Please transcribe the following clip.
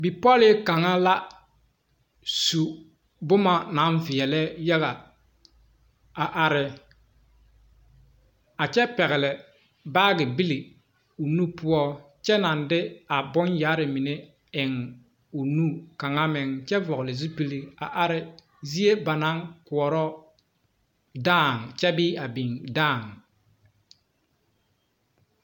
Bipolee kaŋa la su boma naŋ veɛle yaga a are a kyɛ pegle baagi bile o nu poɔ kyɛ naŋ de a bon yaare eŋ o nu kaŋa meŋ kyɛ vɔgle zupele a are zie ba naŋ koɔre dãã kyɛ bee a biŋ dãã.